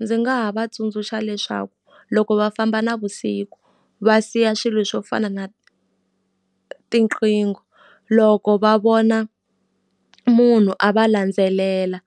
Ndzi nga ha va tsundzuxa leswaku loko va famba navusiku va siya swilo swo fana na tiqingho, loko va vona munhu a va landzelela